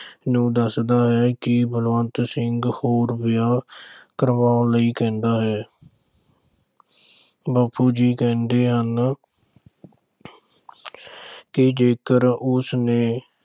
ਨੂੰ ਦੱਸਦਾ ਹੈ ਕਿ ਬਲਵੰਤ ਸਿੰਘ ਹੋਰ ਵਿਆਹ ਕਰਵਾਉਣ ਲਈ ਕਹਿੰਦਾ ਹੈ। ਬਾਪੂ ਜੀ ਕਹਿੰਦੇ ਹਨ ਕਿ ਜੇਕਰ ਉਸਨੇ